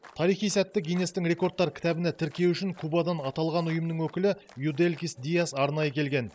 тарихи сәтті гиннестің рекордтар кітабына тіркеу үшін кубадан аталған ұйымның өкілі юделькис диэс арнайы келген